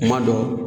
Kuma dɔ